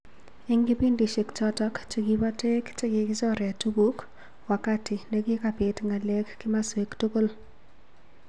Eng kipindishek chotok chekipo toek chekikichoree tukuk, wakati nekikapit ng'aleek kimaswek tugul